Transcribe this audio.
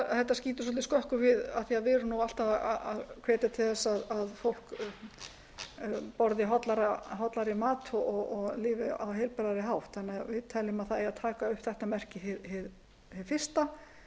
þetta skýtur svolítið skökku við af því að við erum alltaf að hvetja til þess að fólk borði hollari mat og lifi á heilbrigðari hátt þannig að við teljum að það eigi að taka upp þetta merki hið fyrsta